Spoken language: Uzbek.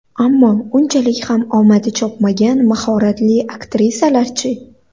Ammo unchalik ham omadi chopmagan mahoratli aktrisalarchi?